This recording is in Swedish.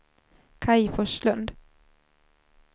Kaj Forslund